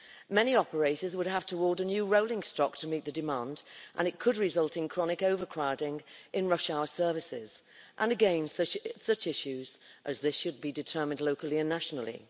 Many operators would have to order new rolling stock to meet the demand, and it could result in chronic overcrowding in rush hour services and again such issues as this should be determined locally and nationally.